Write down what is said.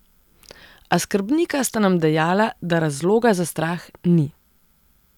A skrbnika sta nam dejala, da razloga za strah ni.